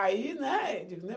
Aí, né, você entendeu?